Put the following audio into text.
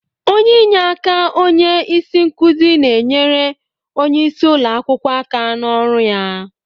Onye inyeaka onye isi nkuzi na-enyere onye isi ụlọ akwụkwọ aka n'ọrụ ya.